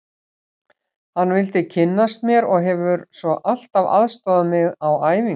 Hann vildi kynnast mér og hefur svo alltaf aðstoðað mig á æfingum.